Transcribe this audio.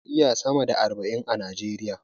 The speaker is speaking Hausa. Akwai jam'iyyu sama da arba'in a Najeriya.